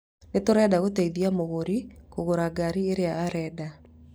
Nĩ tũrenda kũteithia mũgũri kũgũra ngari ĩrĩa arenda.